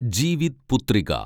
Jivitputrika